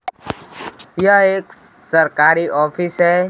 यह एक सरकारी ऑफिस है।